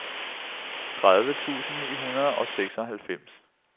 tredive tusind ni hundrede og seksoghalvfems